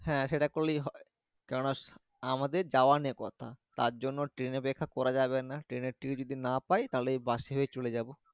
হ্যাঁ সেটা করলে হয় কেননা আমাদের যাওয়া নিয়ে কথা তারজন্য train অপেক্ষা করা যাবে না train এর ticket যদি না পাই তাহলে ওই বাস এ করে চলে যাবো।